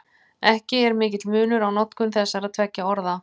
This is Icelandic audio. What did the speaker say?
Ekki er mikill munur á notkun þessara tveggja orða.